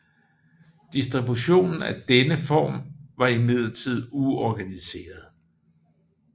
Distributionen af denne information var imidlertid uorganiseret